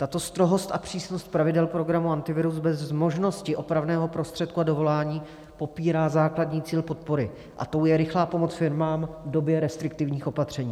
Tato strohost a přísnost pravidel programu Antivirus bez možnosti opravného prostředku a dovolání popírá základní cíl podpory, a tím je rychlá pomoc firmám v době restriktivních opatření.